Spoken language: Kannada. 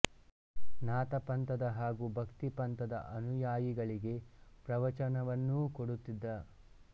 ನಾಥ ಪಂಥದ ಹಾಗೂ ಭಕ್ತಿ ಪಂಥದ ಅನುಯಾಯಿಗಳಿಗೆ ಪ್ರವಚನವನ್ನೂ ಕೊಡುತ್ತಿದ್ದ